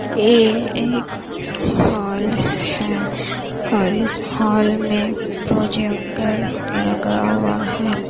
यह एक हॉल हे । और इस हॉल मे प्रोजेक्टर लगा हुआ है।